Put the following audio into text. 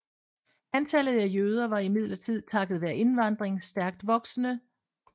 Antallet af jøder var imidlertid takket være indvandring stærkt voksende